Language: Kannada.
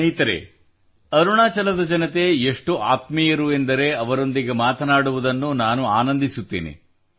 ಸ್ನೇಹಿತರೇ ಅರುಣಾಚಲದ ಜನತೆ ಎಷ್ಟು ಆತ್ಮೀಯರು ಎಂದರೆ ಅವರೊಂದಿಗೆ ಮಾತನಾಡುವುದನ್ನು ನಾನು ಆನಂದಿಸುತ್ತೇನೆ